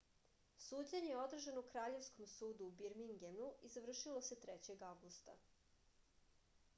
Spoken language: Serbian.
suđenje je održano u kraljevskom sudu u birmingemu i završilo se 3. avgusta